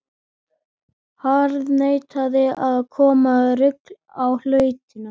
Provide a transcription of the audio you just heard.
Harðneitaði að koma reglu á hlutina.